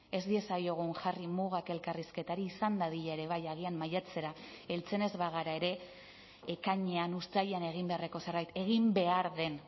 ez diezaiogun jarri mugak elkarrizketari izan dadila ere bai agian maiatzera heltzen ez bagara ere ekainean uztailean egin beharreko zerbait egin behar den